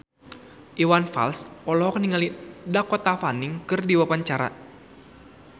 Iwan Fals olohok ningali Dakota Fanning keur diwawancara